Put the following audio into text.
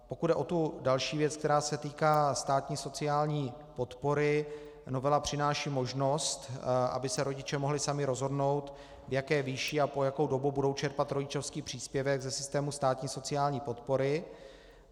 Pokud jde o tu další věc, která se týká státní sociální podpory, novela přináší možnost, aby se rodiče mohli sami rozhodnout, v jaké výši a po jakou dobu budou čerpat rodičovský příspěvek ze systému státní sociální podpory.